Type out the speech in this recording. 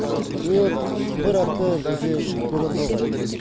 вот бір апта бізде көмір болған жоқ